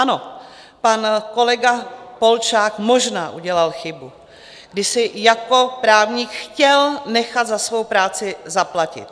Ano, pan kolega Polčák možná udělal chybu, když si jako právník chtěl nechat za svou práci zaplatit.